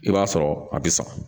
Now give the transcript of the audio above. I b'a sɔrɔ a bi sa